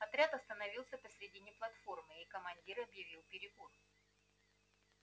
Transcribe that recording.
отряд остановился посередине платформы и командир объявил перекур